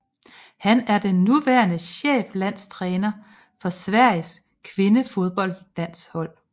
Han er den nuværende cheflandstræner for Sveriges kvindefodboldlandshold